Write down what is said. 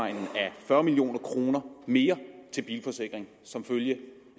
fyrre million kroner mere til bilforsikring som følge